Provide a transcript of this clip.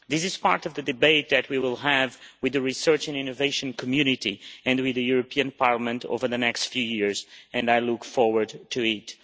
This is part of the debate that we will have with the research and innovation community and with this Parliament over the next few years and I look forward to it.